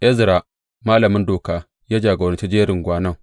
Ezra malamin Doka ya jagoranci jerin gwanon.